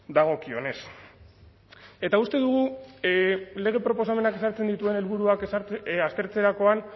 dagokionez eta uste dugu lege proposamenak ezartzen dituen helburuak aztertzerakoan